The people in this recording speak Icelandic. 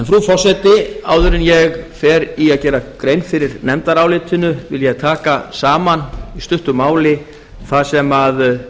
frú forseti áður en ég geri grein fyrir nefndarálitinu vil ég taka saman í stuttu máli það sem